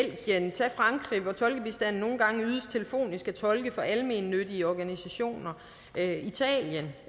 tag frankrig hvor tolkebistanden nogle gange ydes telefonisk af tolke fra almennyttige organisationer tag italien